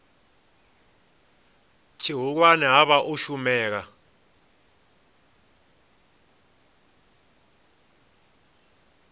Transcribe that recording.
tshihulwane ha vha u shumela